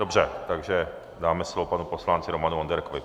Dobře, takže dáme slovo panu poslanci Romanu Onderkovi.